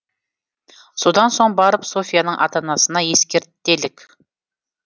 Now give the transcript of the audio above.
содан соң барып софьяның ата анасына ескертелік